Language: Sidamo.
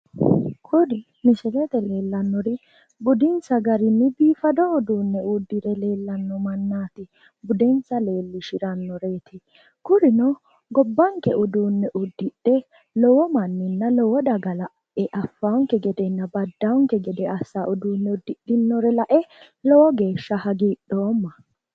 kuri misilete aana leellannori budinsa garinni biifado udiinne uddire leellanno mannaati budensa leellishirannoreti kurino gobbanke udiinne uddidhe lowo manninna lowo daga lae affannonke gedenna baddanonke gede assanno uduunne uddidhinore lae lowo geshsha hagiidhoomma.